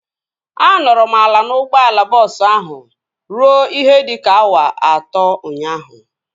A nọrọ m ala n'ụgbọala bọọsu ahu ruo ihe dịka awa atọ ụnyaahụ